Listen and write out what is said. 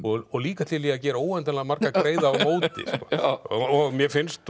og líka til í að gera óendanlega marga greiða á móti mér finnst